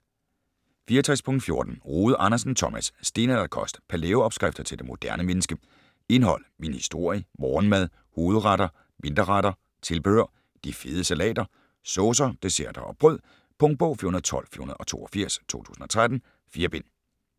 64.14 Rode Andersen, Thomas: Stenalderkost: palæo-opskrifter til det moderne menneske Indhold: Min historie, Morgenmad, Hovedretter, Mindre retter, Tilbehør, De fede salater, Saucer, Desserter & "brød". Punktbog 412482 2013. 4 bind.